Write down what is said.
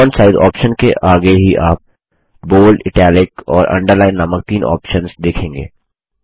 font size option के आगे ही आप बोल्ड इटालिक और Underlineनामक तीन ऑप्शन्स देखेंगे